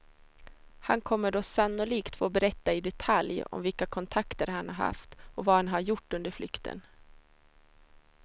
Han kommer då sannolikt få berätta i detalj om vilka kontakter han har haft och vad han har gjort under flykten.